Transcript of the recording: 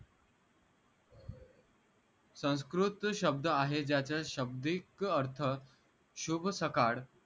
संस्कृत शब्द आहे ज्याचा शब्दीक अर्थ शुभ सकाळ